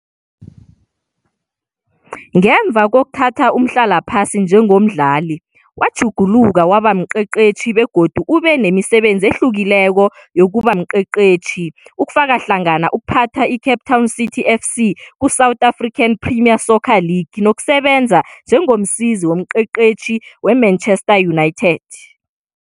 Ngemva kokuthatha umhlalaphasi njengomdlali, watjhuguluka waba mqeqetjhi begodu ube nemisebenzi ehlukileko yokubamqeqetjhi, okufaka hlangana ukuphatha i-Cape Town City FC ku-South African Premier Soccer League nokusebenza njengomsizi womqeqetjhi we-Manchester United.